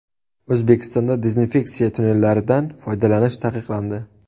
O‘zbekistonda dezinfeksiya tunnellaridan foydalanish taqiqlandi.